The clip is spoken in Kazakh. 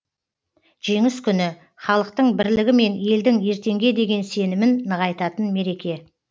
жеңіс күні халықтың бірлігі мен елдің ертеңге деген сенімін нығайтатын мереке